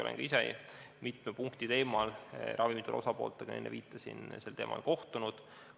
Olen ka ise mitme punkti teemal, nagu enne viitasin, ravimituru osapooltega sel teemal kohtunud.